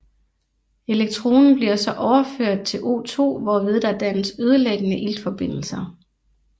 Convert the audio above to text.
Elektronen bliver så overført til O2 hvorved der dannes ødelæggende iltforbindelser